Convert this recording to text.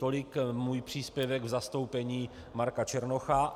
Tolik můj příspěvek v zastoupení Marka Černocha.